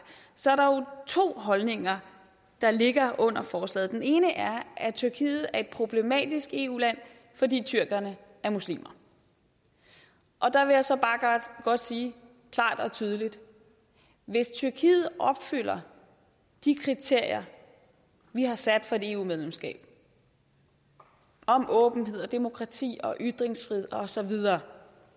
så er der jo to holdninger der ligger under forslaget den ene er at tyrkiet er problematisk eu land fordi tyrkerne er muslimer og der vil jeg så bare godt sige klart og tydeligt hvis tyrkiet opfylder de kriterier vi har sat for et eu medlemskab om åbenhed og demokrati og ytringsfrihed og så videre